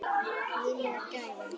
Mín var gæfan.